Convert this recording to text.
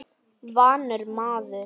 Vanur maður.